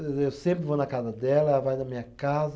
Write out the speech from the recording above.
Eu sempre vou na casa dela, ela vai na minha casa.